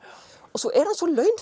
og svo er hann svo